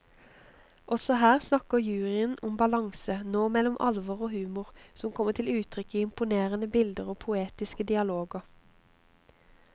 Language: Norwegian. Også her snakker juryen om balanse, nå mellom alvor og humor, som kommer til uttrykk i imponerende bilder og poetiske dialoger.